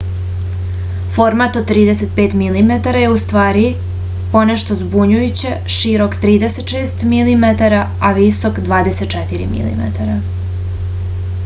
format od 35 mm je ustvari ponešto zbunjujuće širok 36 mm a visok 24 mm